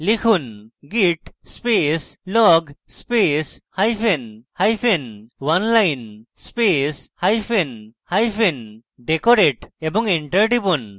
লিখুন: git space log space hyphen hyphen oneline space hyphen hyphen decorate এবং enter টিপুন